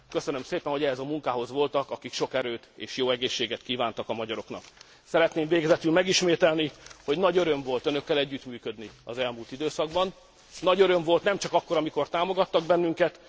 Köszönöm szépen, hogy ehhez a munkához voltak, akik sok erőt és jó egészséget kívántak a magyaroknak Szeretném végezetül megismételni, hogy nagy öröm volt önökkel együttműködni az elmúlt időszakban. Nagy öröm volt nem csak akkor, amikor támogattak bennünket.